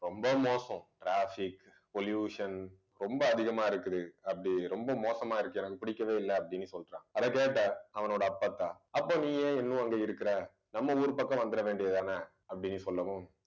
ரொம்ப மோசம் traffic pollution ரொம்ப அதிகமா இருக்குது. அப்படி ரொம்ப மோசமா இருக்கு எனக்கு பிடிக்கவே இல்லை அப்பிடின்னு சொல்றான் அதை கேட்ட அவனோட அப்பத்தா அப்ப நீ ஏன் இன்னும் அங்க இருக்கிற நம்ம ஊரு பக்கம் வந்துட வேண்டியது தானே அப்பிடின்னு சொல்லவும்